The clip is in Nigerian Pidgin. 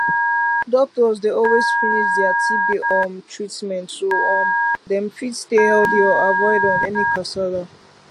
doctors dey always finish dia tb um treatment so um dem fit stay healthy and avoid um any kasala